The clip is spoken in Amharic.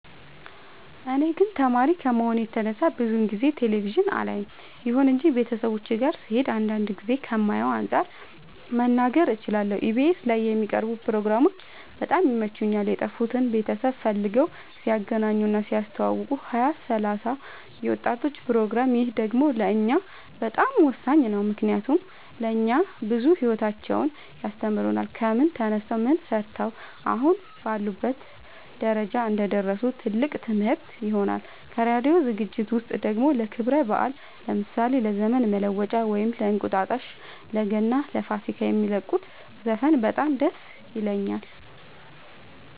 እኔ ግን ተማሪ ከመሆኔ የተነሳ ብዙ ጊዜ ቴሌቪዥን አላይም ይሁን እንጂ ቤተሰቦቼ ጋ ስሄድ አንዳንድ ጊዜ ከማየው አንፃር መናገር እችላለሁ ኢቢኤስ ላይ የሚቀርቡ ፕሮግራሞች በጣም ይመቹኛል የጠፉትን ቤተሰብ ፈልገው ሲያገናኙ እና ሲያስተዋውቁ ሀያ ሰላሳ የወጣቶች ፕሮግራም ይህ ደግሞ ለእኛ በጣም ወሳኝ ነው ምክንያቱም ለእኛ ብዙ ሂወታቸውን ያስተምሩናል ከምን ተነስተው ምን ሰርተው አሁን ላሉበት ደረጃ እንደደረሱ ትልቅ ትምህርት ይሆነናል ከራዲዮ ዝግጅት ውስጥ ደግሞ ለክብረ በአል ለምሳሌ ለዘመን መለወጫ ወይም እንቁጣጣሽ ለገና ለፋሲካ የሚለቁት ዘፈን በጣም ደስ ይለኛል